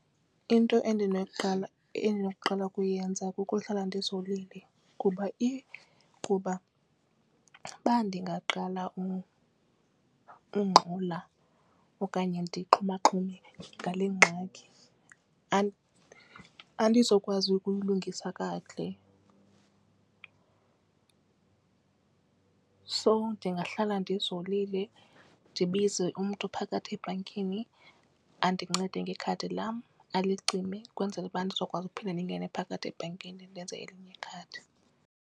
Into endinokuqala ukuyenza kukuhlala ndizolile kuba if kuba ndingaqala ungxola okanye ndixhumaxhume ngale ngxaki andizukwazi ukuyilungisa kakuhle. So ndingahlala ndizolile ndibize umntu phakathi ebhankini andincede ngekhadi lam alicime ukwenzela uba ndizokwazi ukuphinda ndingene phakathi ebhankini ndenze elinye ikhadi.